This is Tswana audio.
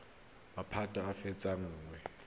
maphata a a fetang nngwe